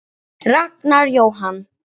Ragnar Jóhann.